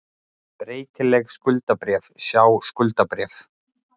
Breytileg skuldabréf, sjá skuldabréf